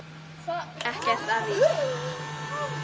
Ekkert að því!